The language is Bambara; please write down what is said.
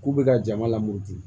K'u bɛ ka jama lamɔ di